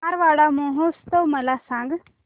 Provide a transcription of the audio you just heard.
मारवाड महोत्सव मला सांग